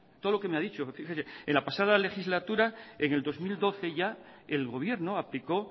todo lo que me ha dicho y fíjese en la pasada legislatura en el dos mil doce ya el gobierno aplicó